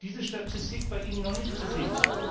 Ich habe diese Statistik bei Ihnen noch nicht gesehen.